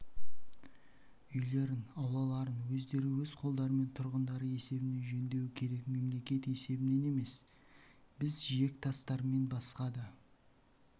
үйлерін аулаларын өздері өз қолдарымен тұрғындары есебінен жөндеуі керек мемлекет есебінен емес біз жиектастармен басқа да